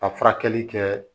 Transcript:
Ka furakɛli kɛ